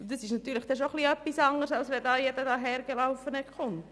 Das ist schon etwas anderes, als wenn jeder Dahergelaufene kontrolliert.